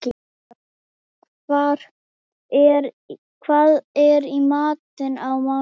Skari, hvað er í matinn á mánudaginn?